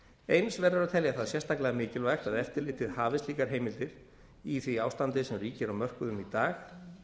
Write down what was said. eins verður að telja það sérstaklega mikilvægt að eftirlitið hafi slíkar heimildir í því ástandi sem ríkir á mörkuðum í dag